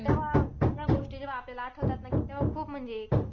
तर तेव्हा, ह्या गोष्टी जेव्हा आपल्याला आठवतात ना, की तेव्हा खूप म्हणजे